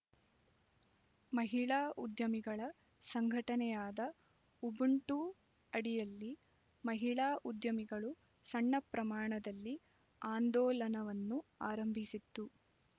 ಮಹಿಳಾ ಉದ್ಯಮಿಗಳ ಸಂಘಟನೆಯಾದ ಉಬುಂಟು ಅಡಿಯಲ್ಲಿ ಮಹಿಳಾ ಉದ್ಯಮಿಗಳು ಸಣ್ಣ ಪ್ರಮಾಣದಲ್ಲಿ ಆಂದೋಲನವನ್ನು ಆರಂಭಿಸಿತ್ತು